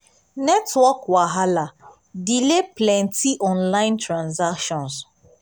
network wahala delay plenty online transactions.